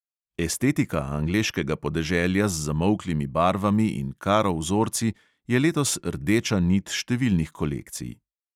Estetika angleškega podeželja z zamolklimi barvami in karo vzorci je letos rdeča nit številnih kolekcij.